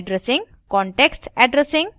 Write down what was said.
context addressing